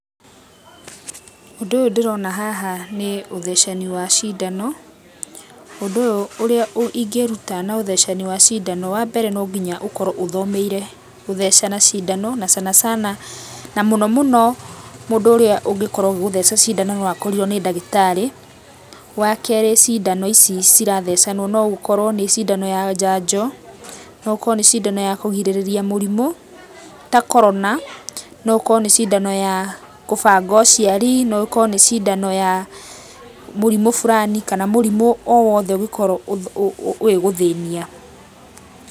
Ũndũ ũyũ ndĩrona haha nĩ ũthecani wa cindano, ũndũ ũyũ ũrĩa ingĩruta na ũthecani wa cindano. Wa mbere no nginya ũkorwo ũthomeire gũthecana cindano na sana sana, na mũno muno mũndũ ũrĩa ũngĩkorwo agĩgũtheca cindano no akorirwo nĩ ndagĩtarĩ. Wa kerĩ cindano ici cirathecanwo no gũkorwo nĩ cindano ya njanjo, no gũkorwo nĩ cindano ya kũrigĩriria mũrimũ ta Korona. No gũkorwo nĩ cindano ya kũbanga ũciari, no ĩkorwo nĩ cindano ya mũrimũ fulani kana mũrimũ o wothe ũngĩkorwo ũgĩgũthĩnia.